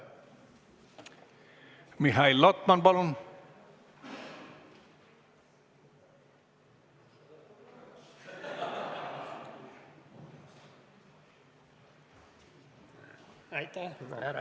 Mihhail Lotman, palun!